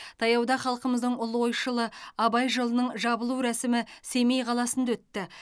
таяуда халқымыздың ұлы ойшылы абай жылының жабылу рәсімі семей қаласында өтті